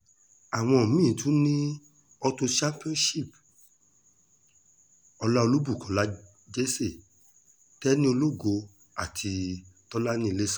àwọn mí-ín tún ni auto championship ọlá olúbukọlá jesse tẹni ológo àti tọ́lani ilésànmi